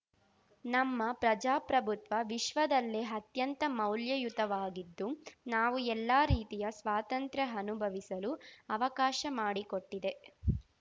ನಮ್ಮ ಪ್ರಜಾಪ್ರಭುತ್ವ ವಿಶ್ವದಲ್ಲೇ ಅತ್ಯಂತ ಮೌಲ್ಯಯುತವಾಗಿದ್ದು ನಾವು ಎಲ್ಲಾ ರೀತಿಯ ಸ್ವಾತಂತ್ರ್ಯ ಅನುಭವಿಸಲು ಅವಕಾಶ ಮಾಡಿಕೊಟ್ಟಿದೆ